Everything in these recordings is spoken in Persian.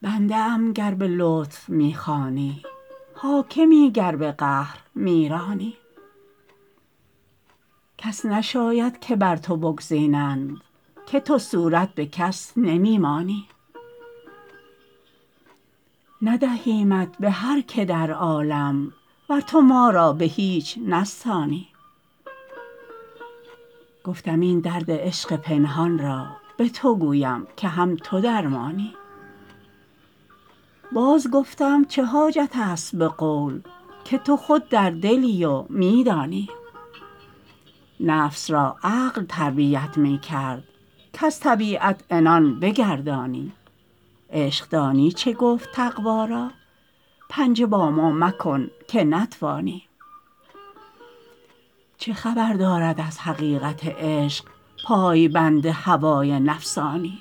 بنده ام گر به لطف می خوانی حاکمی گر به قهر می رانی کس نشاید که بر تو بگزینند که تو صورت به کس نمی مانی ندهیمت به هر که در عالم ور تو ما را به هیچ نستانی گفتم این درد عشق پنهان را به تو گویم که هم تو درمانی باز گفتم چه حاجت است به قول که تو خود در دلی و می دانی نفس را عقل تربیت می کرد کز طبیعت عنان بگردانی عشق دانی چه گفت تقوا را پنجه با ما مکن که نتوانی چه خبر دارد از حقیقت عشق پای بند هوای نفسانی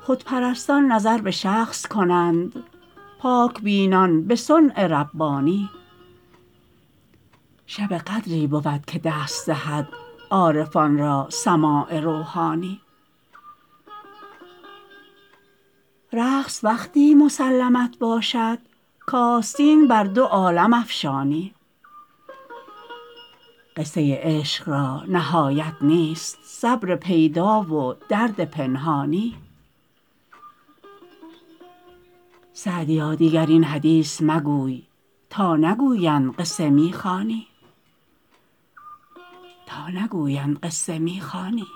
خودپرستان نظر به شخص کنند پاک بینان به صنع ربانی شب قدری بود که دست دهد عارفان را سماع روحانی رقص وقتی مسلمت باشد کآستین بر دو عالم افشانی قصه عشق را نهایت نیست صبر پیدا و درد پنهانی سعدیا دیگر این حدیث مگوی تا نگویند قصه می خوانی